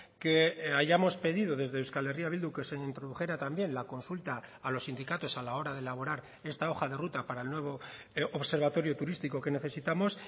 que hayamos pedido desde euskal herria bildu que se introdujera también la consulta a los sindicatos a la hora de elaborar esta hoja de ruta para el nuevo observatorio turístico que necesitamos